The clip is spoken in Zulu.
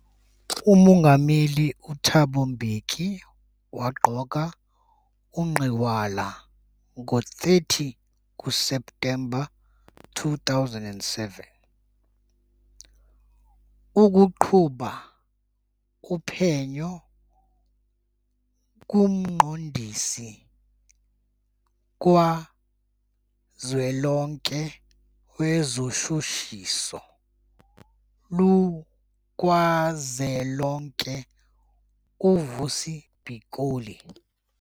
UMongameli uThabo Mbeki waqoka uGinwala ngo-30 kuSeptemba 2007 ukuqhuba uphenyo kuMqondisi kaZwelonke wezoShushiso lukazwelonke uVusi Pikoli.